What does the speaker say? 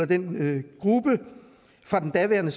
den gruppe fra den daværende